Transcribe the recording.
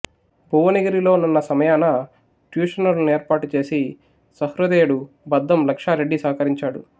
భువనగిరిలో నున్న సమయాన ట్యూషనులు నేర్పాటుచేసి సహృదయుడు బద్దం లక్షారెడ్డి సహకరించాడు